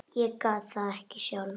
Ég gat það ekki sjálf.